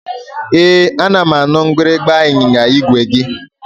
Ee, ana m anụ mgbịrịmgba ịnyịnya igwe gị